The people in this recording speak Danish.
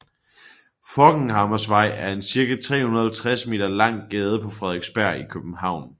Forchhammersvej er en cirka 350 meter lang gade på Frederiksberg i København